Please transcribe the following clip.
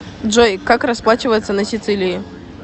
джой как расплачиваться на сицилии